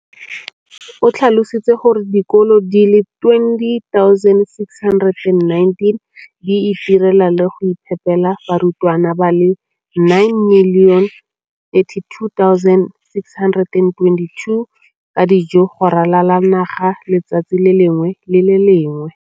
o tlhalositse gore dikolo di le 20 619 di itirela le go iphepela barutwana ba le 9 032 622 ka dijo go ralala naga letsatsi le lengwe le le lengwe.